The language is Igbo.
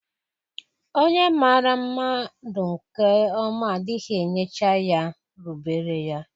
Onye maara mmadu nke 9ma adighi enyecha ya nSQP\lf\l rubere ya.